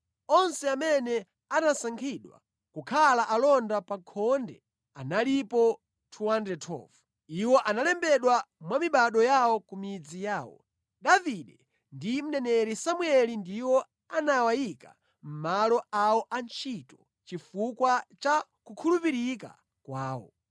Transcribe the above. Onse amene anasankhidwa kukhala alonda pa khonde analipo 212. Iwo analembedwa mwa mibado yawo ku midzi yawo. Davide ndi mneneri Samueli ndiwo anawayika mʼmalo awo antchito chifukwa cha kukhulupirika kwawo.